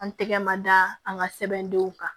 An tɛgɛ ma da an ka sɛbɛndenw kan